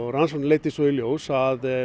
rannsóknin leiddi svo í ljós að